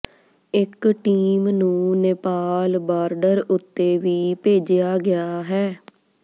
ਇੱਕ ਟੀਮ ਨੂੰ ਨੇਪਾਲ ਬਾਰਡਰ ਉੱਤੇ ਵੀ ਭੇਜਿਆ ਗਿਆ ਹੈ